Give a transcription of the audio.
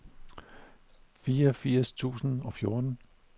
fireogfirs tusind og fjorten